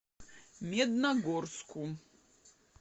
медногорску